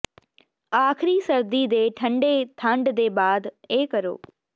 ਆਖਰੀ ਸਰਦੀ ਦੇ ਠੰਢੇ ਠੰਡ ਦੇ ਬਾਅਦ ਇਹ ਕਰੋ